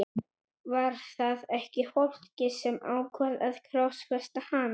Var það ekki fólkið sem ákvað að krossfesta hann?